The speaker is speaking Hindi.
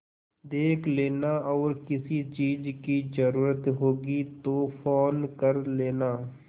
देख लेना और किसी चीज की जरूरत होगी तो फ़ोन कर लेना